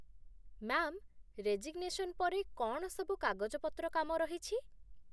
Ma'am, resignation ପରେ କ'ଣ ସବୁ କାଗଜପତ୍ରକାମ ରହିଛି ?